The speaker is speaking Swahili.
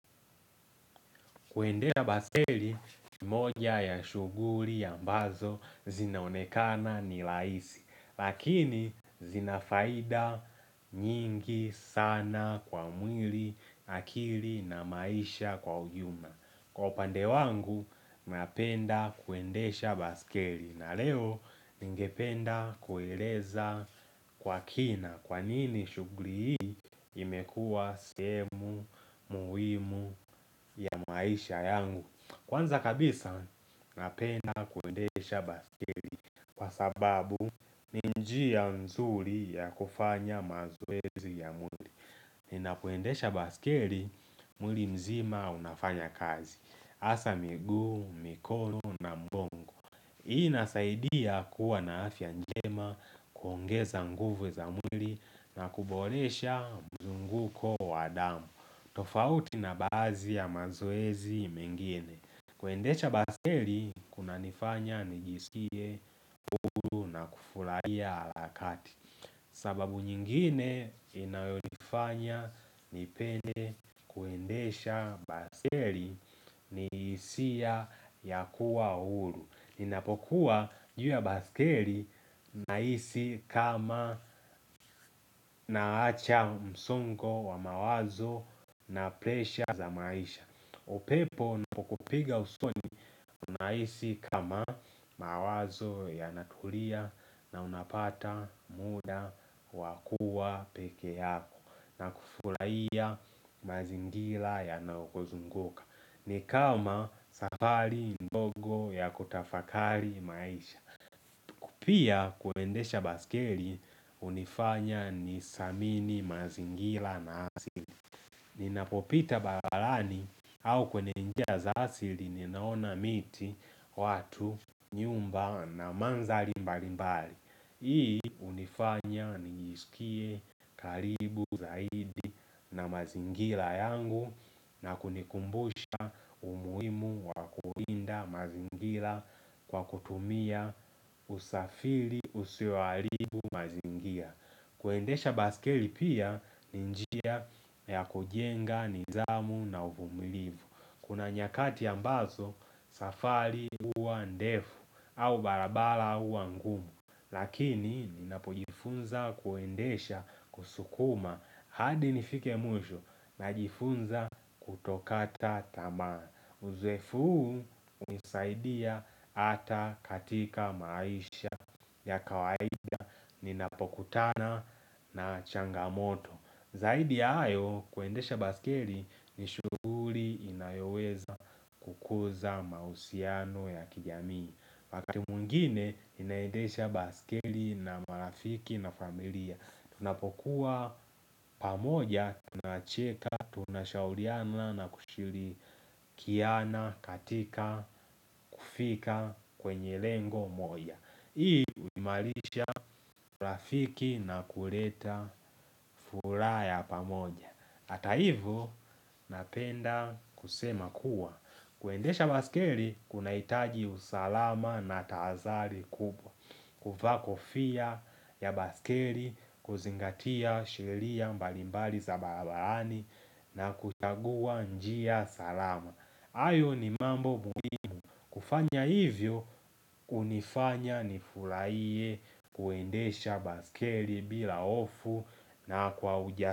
Kuendesha baiskeli, ni moja ya shughuli ambazo zinaonekana ni rahisi, lakini zina faida nyingi sana kwa mwili, akili na maisha kwa ujumla. Kwa upande wangu, napenda kuendesha baiskeli na leo ningependa kueleza kwa kina kwa nini shughuli hii imekua sehemu muhimu ya maisha yangu. Kwanza kabisa napenda kuendesha baiskeli kwa sababu ni njia mzuri ya kufanya mazoezi ya mwili. Ninapoendesha baiskeli mwili mzima unafanya kazi. Hasa miguu, mikono na mgongo. Hii inasaidia kuwa na afya njema, kuongeza nguvu za mwili na kuboresha mzunguko wa damu. Tofauti na baadhi ya mazoezi mengine. Kuendesha baiskeli kunanifanya nijisikie huru na kufurahia harakati. Sababu nyingine inayonifanya nipende kuendesha baiskeli ni hisia ya kuwa huru. Ninapokuwa juu ya baiskeli nahisi kama naacha msongo wa mawazo na presha za maisha upepo unapokupiga usoni unahisi kama mawazo yanatulia na unapata muda wa kuwa peke yako na kufurahia mazingira yanaokuzunguka. Ni kama safari ndogo ya kutafakari maisha. Pia kuendesha baiskeli hunifanya nithamini mazingira na asili. Ninapopita barabarani au kwenye njia za asili ninaona miti, watu, nyumba na mandhari mbalimbali. Hii hunifanya nijisikie karibu zaidi na mazingira yangu na kunikumbusha umuhimu wa kulinda mazingira kwa kutumia usafiri usioharibu mazingira kuendesha baiskeli pia ni njia yakujenga nidhamu na uvumilivu. Kuna nyakati ambazo safari huwa ndefu au barabara huwa ngumu lakini ninapojifunza kuendesha kusukuma hadi nifike mwisho najifunza kutokata tamaa. Uzoefu huu hunisaidia hata katika maisha ya kawaida Ninapokutana na changamoto. Zaidi ya hayo kuendesha baskeli ni shughuli inayoweza kukuza mahusiano ya kijamii. Wakati mwingine ninaendesha baiskeli na marafiki na familia. Tunapokuwa pamoja tunacheka tunashauriana na kushirikiana kiana katika kufika kwenye lengo moja. Hii huimarisha rafiki na kuleta furaha ya pamoja Ata hivyo napenda kusema kuwa kuendesha baiskeli kunahitaji usalama na tahadhari kubwa kuvaa kofia ya baiskeli kuzingatia sheria mbalimbali za barabarani na kuchagua njia salama. Hayo ni mambo muhimu kufanya hivyo hunifanya nifurahiye kuendesha baiskeli bila hofu na kwa ujasiri.